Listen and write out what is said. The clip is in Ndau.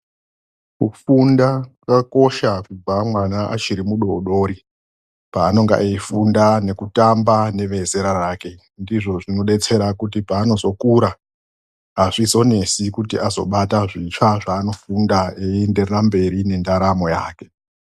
Kufunda kwakakosha kubva mwana achiri mudoodori paanonga eifunda nekutamba nevezera rake. Ndizvo zvinodetsera kuti paanozokura azvizonesi kuti azobata zvitsva zvaanofunda eienderera mberi nendaramo yake.